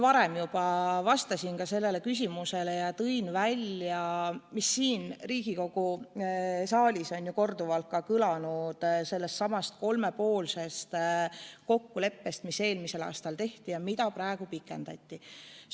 Ma enne juba vastasin sellele küsimusele ja tõin välja selle, mis siin Riigikogu saalis on juba korduvalt kõlanud – sellesama kolmepoolse kokkuleppe, mis eelmisel aastal tehti ja mida praegu pikendati.